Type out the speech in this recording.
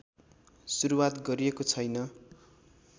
सुरुवात गरिएको छैन